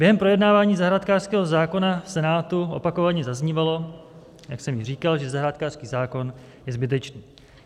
Během projednávání zahrádkářského zákona v Senátu opakovaně zaznívalo, jak jsem již říkal, že zahrádkářský zákon je zbytečný.